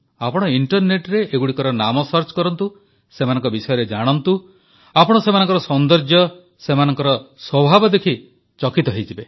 ଆପଣ ଇଂଟରନେଟରେ ଏଗୁଡ଼ିକର ନାମ ସନ୍ଧାନ କରନ୍ତୁ ସେମାନଙ୍କ ବିଷୟରେ ଜାଣନ୍ତୁ ଆପଣ ସେମାନଙ୍କର ସୌନ୍ଦର୍ଯ୍ୟ ସେମାନଙ୍କର ସ୍ୱଭାବ ଦେଖି ଚକିତ ହୋଇଯିବେ